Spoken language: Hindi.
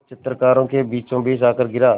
जो चित्रकारों के बीचोंबीच आकर गिरा